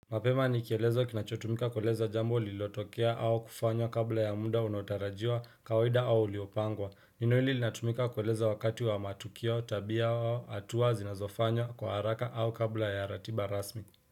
Mapema nikielezwa kinachotumika kueleza jambo lililotokea au kufanya kabla ya muda unaotarajiwa kawaida au uliopangwa. Neno hili linatumika kueleza wakati wa matukio tabia au hatua zinazofanywa kwa haraka au kabla ya ratiba rasmi.